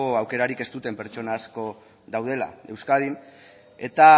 aukerarik ez duten pertsona asko daudela euskadin eta